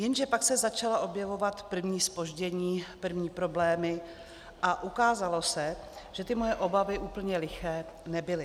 Jenže pak se začala objevovat první zpoždění, první problémy a ukázalo se, že ty moje obavy úplně liché nebyly.